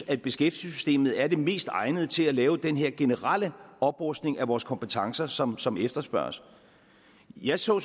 at beskæftigelsessystemet er det mest egnede til at lave den generelle oprustning af vores kompetencer som som efterspørges jeg så